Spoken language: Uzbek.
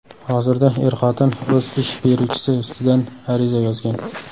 Hozirda er-xotin o‘z ish beruvchisi ustidan ariza yozgan.